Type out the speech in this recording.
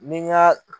Ni n ka